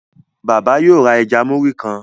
Bàbá yóò rá ẹja Muri kán.